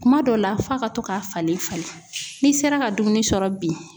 Kuma dɔ la, f'a ka to k'a falen falen; n'i sera ka dumuni sɔrɔ bi.